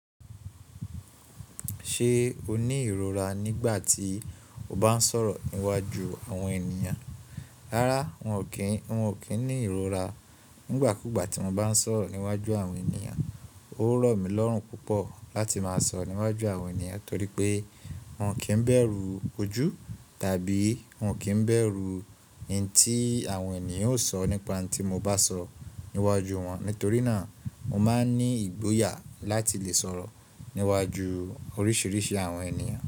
Ṣé o ní ìrora nígbà tí o bá ń sọ̀rọ̀ níwájú àwọn ènìyàn? Rárá, wọn ò kí ń ní ìrora. Nígbà kúgbà tí mo bá ń sọ̀rọ̀ níwájú àwọn ènìyàn, ó rọ̀mí lọ́rùn púpọ̀ láti máa sọ̀rọ̀ níwájú àwọn ènìyàn torí pé n o kì í bẹ̀rù ojú tàbí n o kì í bẹ̀rù ohùn tí àwọn ènìyàn ó sọ nípa ohùn tí mo bá sọ níwájú wọn. Nítorí náà mo máa ń ní ìgboyà láti lè sọ̀rọ̀ níwájú oríṣiríṣi àwọn ènìyàn.